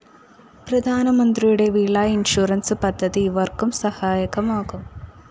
പ്രധാനമന്ത്രിയുടെ വിള ഇൻഷുറൻസ്‌ പദ്ധതി ഇവര്‍ക്കും സഹായകമാകും